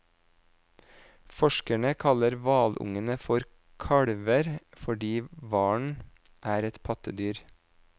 Forskerne kaller hvalungene for kalver, fordi hvalen er et pattedyr.